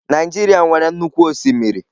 Naijiria nwere nnukwu osimiri.